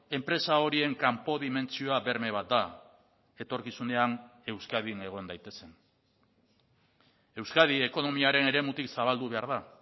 enpresa horien kanpo dimentsioa berme bat da etorkizunean euskadin egon daitezen euskadi ekonomiaren eremutik zabaldu behar da